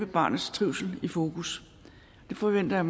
barnets trivsel i fokus det forventer jeg